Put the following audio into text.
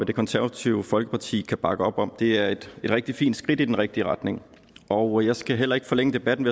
det konservative folkeparti kan bakke op om det er et rigtig fint skridt i den rigtige retning og jeg skal heller ikke forlænge debatten